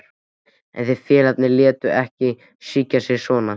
En þeir félagarnir létu ekki svíkja sig svona.